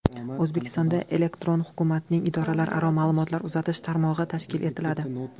O‘zbekistonda elektron hukumatning idoralararo ma’lumotlar uzatish tarmog‘i tashkil etiladi.